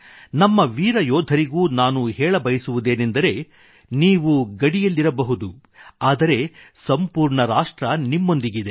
ನಮ್ಮ ವೀರ ಯೋಧರಿಗೂ ನಾನು ಹೇಳಬಯಸುವುದೇನೆಂದರೆ ನೀವು ಗಡಿಯಲ್ಲಿರಬಹುದು ಆದರೆ ಸಂಪೂರ್ಣ ರಾಷ್ಟ್ರ ನಿಮ್ಮೊಂದಿಗಿದೆ